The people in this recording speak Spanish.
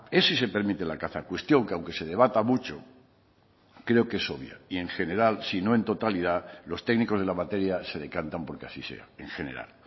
es si se permite la caza cuestión que aunque se debata mucho creo que es obvia y en general si no en totalidad los técnicos de la materia se decantan porque así sea en general